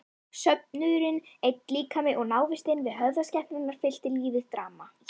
Söfnuðurinn einn líkami og návistin við höfuðskepnurnar fyllti lífið drama.